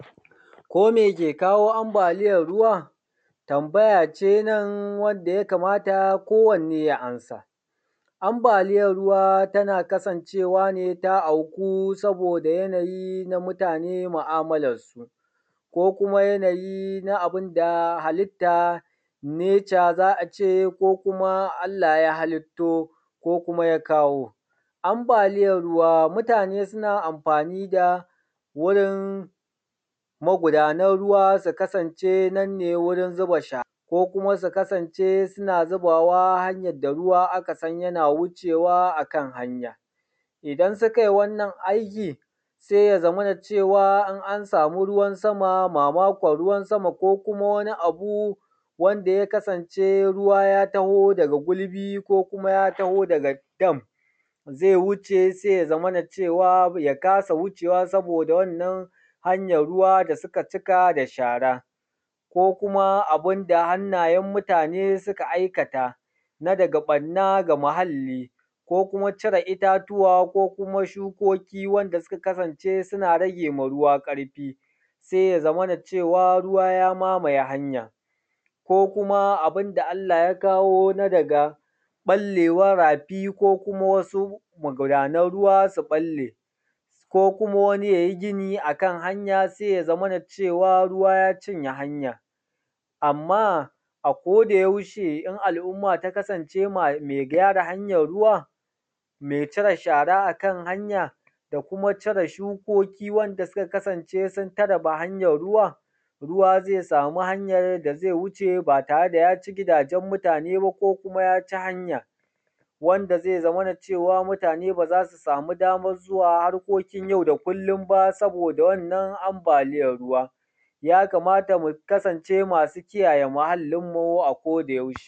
Kome ke kawo ambaliyan ruwa? Tambaya ce nan wanda ya kamata kowanne ya amsa. Ambaliyan ruwa tana kasancewa ne ta auku saboda yanayi na mutane mu'amalan su, ko kuma yanayi na abun da halitta nature za a ce ko kuma Allah ya halitto, ko ya kawo. Ambaliyan ruwa mutane suna amfani da wurin magudanan ruwa su kasance nan ne wurin zuba shara, ko kuma su kasance suna zubawa hanyan da ruwa aka san yana ruwa yana wuce wa akan hanya. Idan suka yi wannan aiki sai ya zamana cewa in an samu ruwan sama, mamakon ruwan sama ko kuma wani abu wanda yakasance ruwa ya taho da gulbi ko kuma ya taho daga dam, ba zai zai wuce ba sai ya zamana cewa ya kasa wucewa saboda wannan hanyan ruwa da suka cika da shara, ko kuma abun da hannayen mutane suka aikata na daga ɓanna ga muhalli ko kuma cire itatuwa, ko kuma shukoki wanda suka kasance suna rage ma ruwa ƙarfi. Sai ya zamana cewa ruwa ya mamaye hanya, ko kuma abun da Allah ya kawo na daga ɓallewan rafi ko kuma wasu magudanan ruwa su ɓalle, ko kuma wani yayi gini akan hanya sai yazamana cewa ruwa ya cinye hanyar. Amma a koda yaushe in al'umma ta kasance mai gyara hanyan ruwa, mai cire shara akan hanya, da kuma cire shukoki wanda suka kasance sun tare hanya ruwa, ruwa zai samu hanyar da zai wuce ba tare da ya ci gidajen mutane ba ko kuma ya ci hanya. Wanda zai zamana wanda zai zamana cewa mutane ba za su samu damar zuwa harkokin yau da kullun ba saboda wannan ambaliyan ruwa. Ya kamata mu kasance masu kiyaye muhallin mu a koda yaushe.